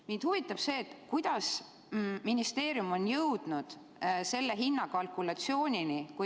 Mind huvitab see, kuidas ministeerium on jõudnud sellise hinnakalkulatsioonini.